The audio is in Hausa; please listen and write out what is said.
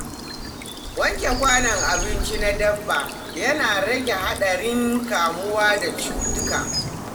Wanke kwanon abinci na dabba yana rage haɗarin kamuwa da cutuka.